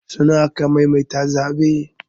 Sau nawa aka maimaita zaɓen?